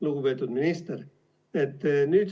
Lugupeetud minister!